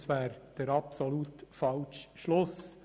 Das wäre der absolut falsche Schluss.